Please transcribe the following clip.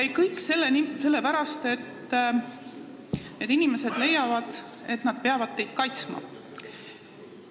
Ning kõik selle pärast, et need inimesed leiavad, et nad peavad teid kaitsma.